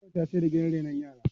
gwamnati ta siyar da gidan renon yara